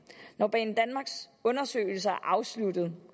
når banedanmarks undersøgelser er afsluttet